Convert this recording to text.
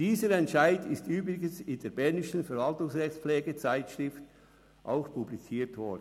Dieser Entscheid ist übrigens in der Bernischen Verwaltungsrechtspflege-Zeitschrift auch publiziert worden.